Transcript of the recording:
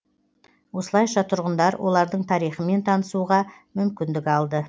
осылайша тұрғындар олардың тарихымен танысуға мүмкіндік алды